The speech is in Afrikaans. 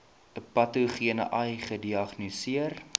patogene ai gediagnoseer